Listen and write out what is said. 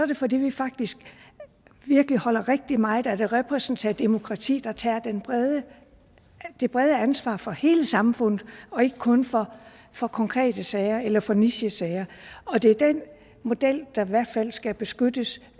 det fordi vi faktisk virkelig holder rigtig meget af det repræsentative demokrati der tager det brede ansvar for hele samfundet og ikke kun for for konkrete sager eller for nichesager og det er den model der i hvert fald skal beskyttes